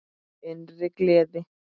Innri gleði.